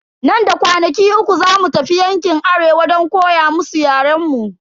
Nan da kwanaki uku zamu tafi yankin arewa don koya musu yaren mu.